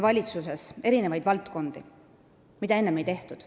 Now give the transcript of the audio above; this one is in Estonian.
Valitsus toetab mitmeid maaelu valdkondi, mida enne ei toetatud.